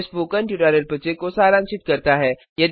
यह spoken tutorial project को सारांशित करता है